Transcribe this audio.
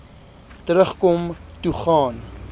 terugkom toe gaan